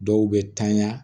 Dɔw bɛ tanya